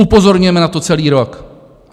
Upozorňujeme na to celý rok.